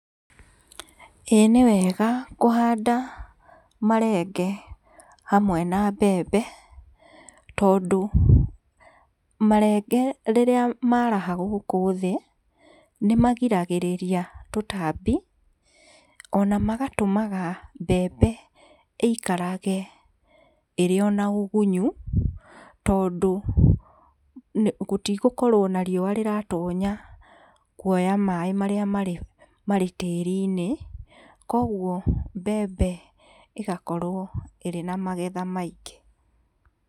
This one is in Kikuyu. Ĩĩ nĩ wega kũhanda marenge hamwe na mbembe, marenge rĩrĩa maraha gũkũ thĩ, nĩmagiragĩrĩria tũtambi ona magatũmaga mbembe ĩikarage ĩrĩ na ũgunyu, tondũ gũtiratonya riua rĩrĩa rĩratonya kuoya maĩ maria marĩ tĩriinĩ, koguo mbembe ĩgakorwo ĩrĩ na magetha maingĩ.